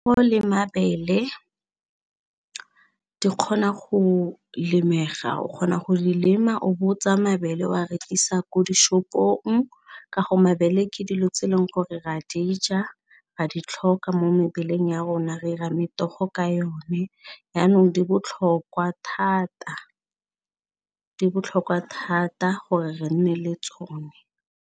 Le mabele di kgona go lebega o kgona go lema o bo tsaya mabele o a rekisa ko dishopong ka go mabele ke dilo tse e leng gore ra di ja, ra di tlhoka mo mebeleng ya rona, re 'ira metogo ka yone yanong di botlhokwa thata di botlhokwa thata gore re nne le tsone.